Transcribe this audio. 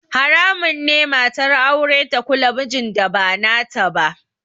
Haramun ne matar aure ta kula mijin da ba nata ba